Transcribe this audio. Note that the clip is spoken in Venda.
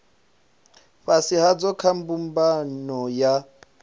fhasi hadzo kha mbumbano ya